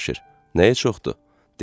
Cavanşir: Nəyə çoxdur?